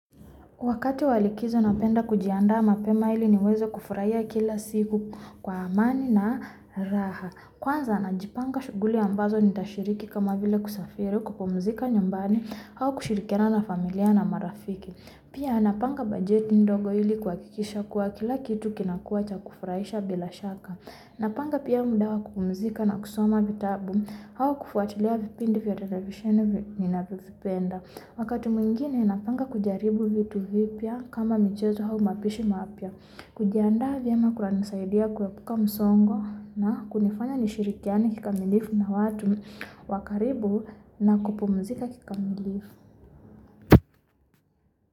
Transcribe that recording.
Wakati wa likizo napenda kujianda mape maili ni waze kufuraya kila siku kwa amani na raha. Kwanza na jipanga guli ambazo nitashiriki kama vile kusafiri kukumuzika nyumbani hau kushirikena na familia na marafiki. Pia napanga budjeti dogo ili kwa kikisha kwa kila kitu kinakua cha kufurayisha belashaka. Napanga pia muda wa kukumuzika na kusoma vitabu au kufuatiliya vipindivi terevisheni ni ninafizipenda. Wakati mwingine napanga kujiaribu vitu vipya kama michezo au mapishi mapya. Kujianda vyema ama kula nisaidi ya kuwepuka musongo na kunifanya nishirikiani kikamilifu na watu wakaribu na kupumuzika kikamilifu.